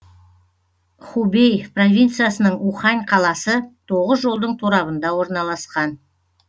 хубэй провинциясының ухань қаласы тоғыз жолдың торабында орналасқан